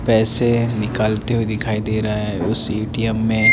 पेसे निकालते हुए दिखाई दे रहा है उस ए_टी_एम में--